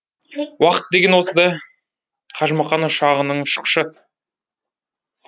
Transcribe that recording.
уақыт деген осы да қажымұқан ұшағының ұшқышы